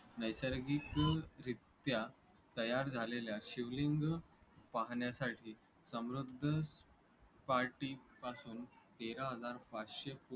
नैसर्गिकरित्या तयार झालेल्या शिवलिंग पाहण्यासाठी समुद्रसपाटीपासून तेरा हजार पाचशे फुट